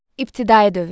İbtidai dövr.